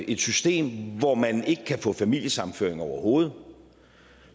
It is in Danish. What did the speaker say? et system hvor man ikke kan få familiesammenføring overhovedet